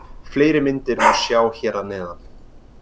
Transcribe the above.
Fleiri myndir má sjá hér að neðan.